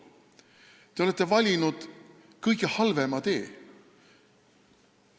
Teie olete valinud kõige halvema tee.